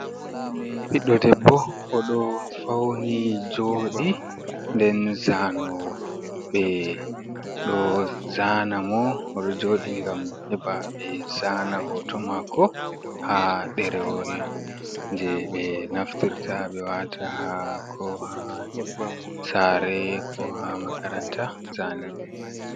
Ɓiɗɗo debbo o ɗo fauni joɗi nden zanowo ɓe ɗo zana mor jodi ngam heɓa ɓe zana hoto mako ha ɗerewol je ɓe naftirta ɓe wata ha ko ha sareko ha makaranta zane.